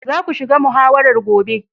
Za ku shiga muhawarar gobe.